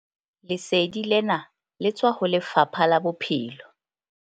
Lesedi lena le tswa ho Lefapha la Bophelo.